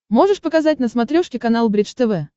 можешь показать на смотрешке канал бридж тв